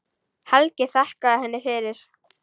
Helgi þakkaði henni fyrir.